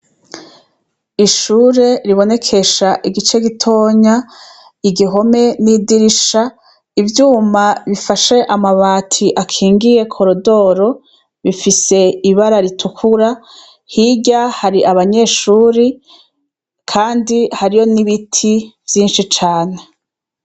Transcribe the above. Ishure ribonekesha igice gitonya, igihome n'idirisha, ivyuma bifashe amabati akingiye koridoro, bifise ibara ritukura. Hirya hari abanyeshuri kandi hariyo n'ibiti vyinshi cane.